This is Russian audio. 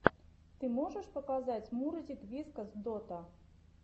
ты можешь показать мурзик вискас дота